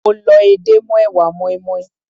Mo lọ edé mọ́ èwà moinmoin.